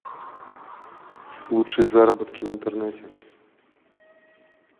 лучшие заработки в интернете